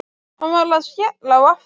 Hann var að skella á aftur.